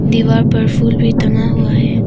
दीवार पर फूल भी टंगा हुआ है।